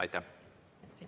Aitäh!